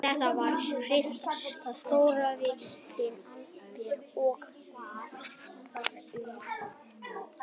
Þetta var fyrsta stórvirki Abels og bar það hróður hans víða um lönd.